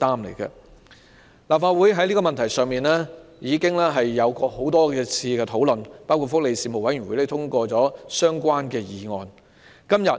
立法會已多次討論這個問題，包括福利事務委員會已通過相關的議案。